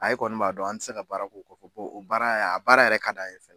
e kɔni b'a dɔn an ti se ka baara k'o o o baara yɛ a baara yɛrɛ ka d'an ye f